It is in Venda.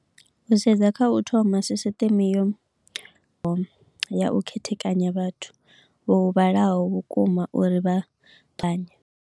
U sedza kha u thoma sisiteme yo yau khethekanya vhathu vho vhalaho vhukuma uri vha ṱavhanye.